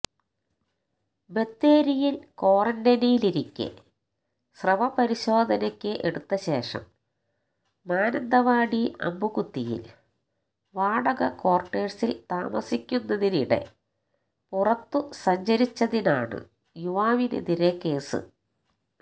ബത്തേരിയില് ക്വാറന്റൈനിലിരിക്കെ സ്രവം പരിശോധനക്ക് എടുത്തശേഷം മാനന്തവാടി അമ്പുകുത്തിയില് വാടക ക്വാര്ട്ടേഴ്സില് താമസിക്കുന്നതിനിടെ പുറത്തു സഞ്ചരിച്ചതിനാണ് യുവാവിനെതിരെ കേസ്